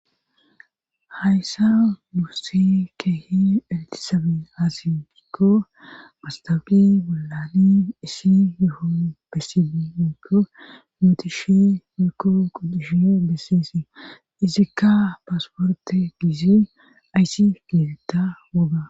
hayssa duuse keehi iltisabe azifikko mastafi wollani isi yoho bessii miko nootishe mirko quddishe besseese izikka paasporte giizi ayssi geetetta woga